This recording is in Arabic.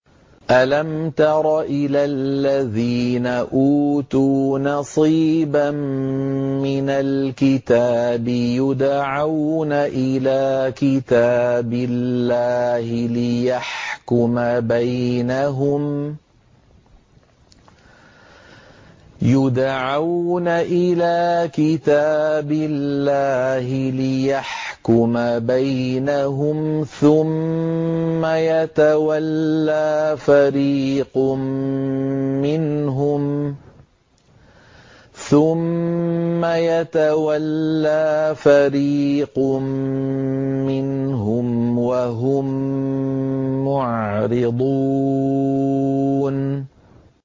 أَلَمْ تَرَ إِلَى الَّذِينَ أُوتُوا نَصِيبًا مِّنَ الْكِتَابِ يُدْعَوْنَ إِلَىٰ كِتَابِ اللَّهِ لِيَحْكُمَ بَيْنَهُمْ ثُمَّ يَتَوَلَّىٰ فَرِيقٌ مِّنْهُمْ وَهُم مُّعْرِضُونَ